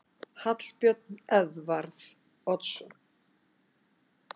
Hallbjörn Edvarð Oddsson